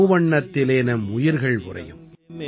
மூவண்ணத்திலே நம் உயிர்கள் உறையும்